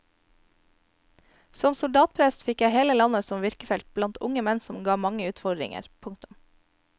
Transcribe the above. Som soldatprest fikk jeg hele landet som virkefelt blant unge menn som ga mange utfordringer. punktum